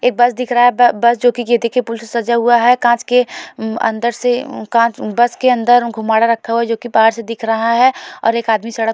एक बस दिख रहा हैं ब बस जो की गेंदे के फूल से सजा हुआ हैं कांच के हम्म अंदर से हह का बस के अंदर घुमड रखा हुआ है जो की बाहर से दिख रहा हैं और एक आदमी सड़क --